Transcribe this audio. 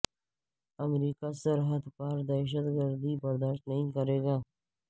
امریکہ سرحد پار دہشت گردی برداشت نہیں کرے گا